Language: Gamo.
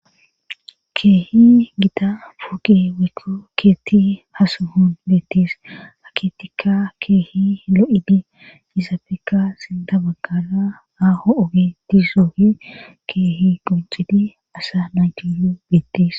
Keehi gita puuqi wiku keetti ha suhun beettis aketika keehi lo7idi izafeka sinda baggara aaho7oge dizoohi keehi qunxidi asa naytiyu bettis